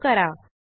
save करा